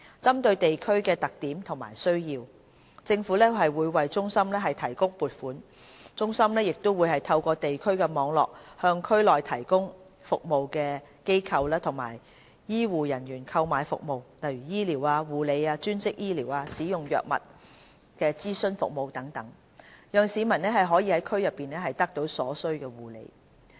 針對地區的特點和需要，政府會為中心提供撥款，中心亦會透過地區網絡，向區內提供服務的機構和醫護人員購買服務，例如醫療、護理、專職醫療、使用藥物的諮詢服務等，讓市民可在區內得到所需的護理。